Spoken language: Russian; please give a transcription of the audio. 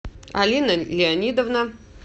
алина леонидовна